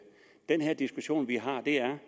den diskussion vi har her